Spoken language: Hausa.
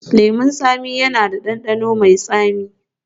Lemun tsami yana da ɗanɗano mai tsami